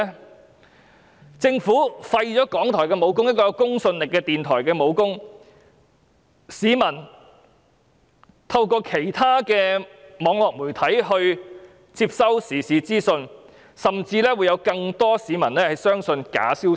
如果政府廢掉港台的"武功"，廢掉這間具公信力的電台的"武功"，那麼市民便只能透過其他網絡媒體接收時事資訊，以致有更多市民相信假消息。